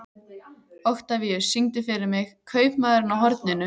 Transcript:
Oktavíus, syngdu fyrir mig „Kaupmaðurinn á horninu“.